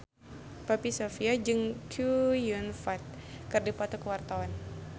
Poppy Sovia jeung Chow Yun Fat keur dipoto ku wartawan